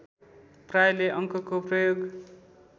प्रायले अङ्कको प्रयोग